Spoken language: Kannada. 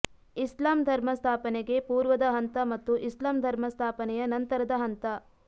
ಇಸ್ಲಾಂ ಧರ್ಮ ಸ್ಥಾಪನೆಗೆ ಪೂರ್ವದ ಹಂತ ಮತ್ತು ಇಸ್ಲಾಂ ಧರ್ಮ ಸ್ಥಾಪನೆಯ ನಂತರದ ಹಂತ